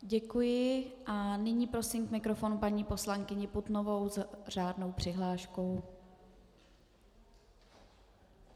Děkuji, a nyní prosím k mikrofonu paní poslankyni Putnovou s řádnou přihláškou.